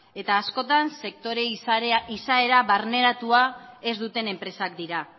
eta askotan sektore izaera barneratua ez duten enpresak dira